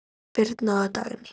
Birna og Dagný.